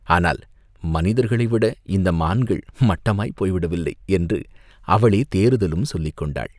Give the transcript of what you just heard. "ஆனால் மனிதர்களை விட இந்த மான்கள் மட்டமாய்ப் போய்விட்டவில்லை!" என்று அவளே தேறுதலும் சொல்லிக் கொண்டாள்.